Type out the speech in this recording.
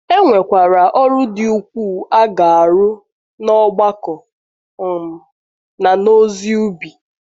E nwekwara ọrụ dị ukwuu a ga - um arụ um n’ọgbakọ um na n’ozi ubi.